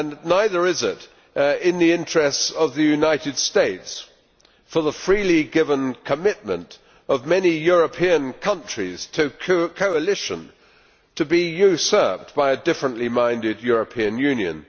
Neither is it in the interests of the United States for the freely given commitment of many European countries to coalition to be usurped by a differently minded European Union.